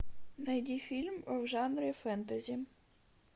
найди фильм в жанре фэнтези